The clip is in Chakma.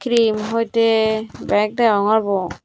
cream hoite bhek degongor bu.